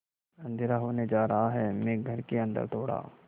अँधेरा होने जा रहा है मैं घर के अन्दर दौड़ा